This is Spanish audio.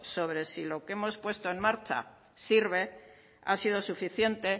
sobre si lo que hemos puesto en marcha sirve ha sido suficiente